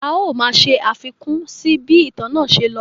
A ó máa ṣe àfikún sí bí ìtàn náà ṣe lọ.